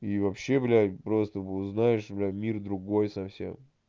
и вообще блять просто узнаешь блять мир другой совсем